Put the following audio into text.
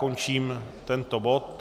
Končím tento bod.